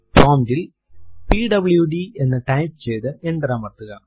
prompt ൽ PWD എന്ന് type ചെയ്തു എന്റർ അമർത്തുക